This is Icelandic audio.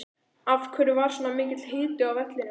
Af hverju var svona mikill hiti á vellinum?